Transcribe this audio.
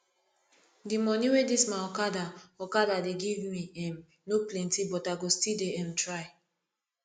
di moni wey dis my okada okada dey give me um no plenty but i go still dey um try